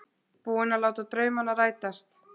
Búinn að láta draumana rætast.